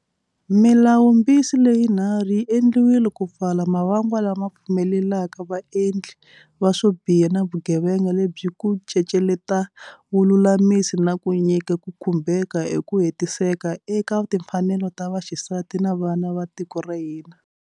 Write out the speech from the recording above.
Milawumbisi leyi nharhu yi endliwile ku pfala mavangwa lama pfumelelaka vaendli va swo biha va vugevenga lebyi ku ceceleta vululami na ku nyika ku khumbheka hi ku hetiseka eka timfanelo ta vaxisati na vana va tiko ra hina.